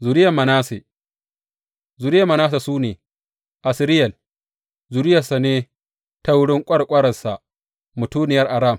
Zuriyar Manasse Zuriyar Manasse su ne, Asriyel zuriyarsa ne ta wurin ƙwarƙwararsa mutuniyar Aram.